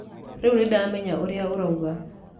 Rĩu nĩ ndamenya ũrĩa ũroiga.